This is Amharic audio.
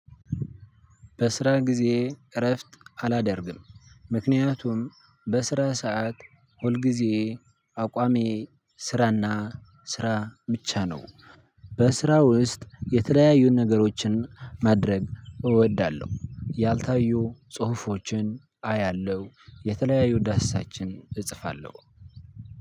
በስራ ጊዜ እረፍት አላደርግም ምክንያቱም በስራ ሰዓት አቋሜ ስራና ስራ ብቻ ነው። በስራ ውስጥ የተለያዩ ነገሮችን ማድረግ እወዳለሁ። ያልታዩ ጽሁፎችን አያለው የተለያዩ ዳሰሳችን እጽፋለሁ።